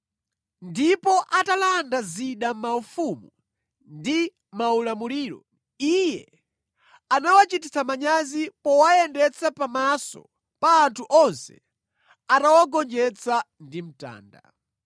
Ndipo atalanda zida maufumu ndi maulamuliro, Iye anawachititsa manyazi powayendetsa pamaso pa anthu onse atawagonjetsa ndi mtanda.